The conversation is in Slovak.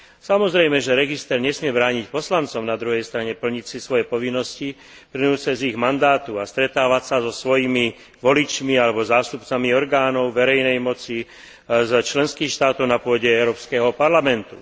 Samozrejme, že register nesmie brániť poslancom na druhej strane plniť si svoje povinnosti plynúce z ich mandátu a stretávať sa so svojimi voličmi alebo zástupcami orgánov verejnej moci za členské štáty na pôde Európskeho parlamentu.